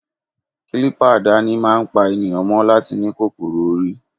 Kilipa àdáni máa ń pa ènìyàn mọ́ láti ní kòkòrò orí.